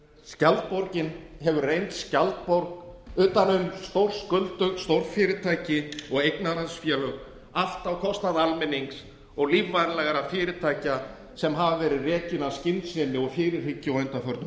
skjaldborgin hefur reynst skjaldborg utan um stórskuldug stórfyrirtæki og eignarhaldsfélög allt á kostnað almennings og lífvænlegra fyrirtækja sem hafa verið rekin af skynsemi og fyrirhyggju á undanförnum